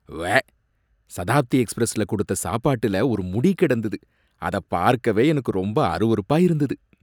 உவ்வே! சதாப்தி எக்ஸ்பிரஸ்ல கொடுத்த சாப்பாட்டுல ஒரு முடி கிடந்தது, அத பார்க்கவே எனக்கு ரொம்ப அருவருப்பா இருந்தது